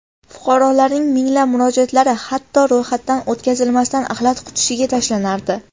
Fuqarolarning minglab murojaatlari hatto ro‘yxatdan o‘tkazilmasdan axlat qutisiga tashlanardi.